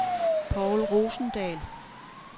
Povl Rosendahl